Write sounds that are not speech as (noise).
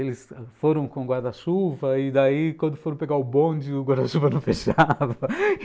Eles foram com o guarda-chuva e daí, quando foram pegar o bonde, o guarda-chuva não (laughs) fechava.